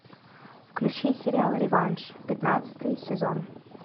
включи сериал реванш пятнадцатый сезон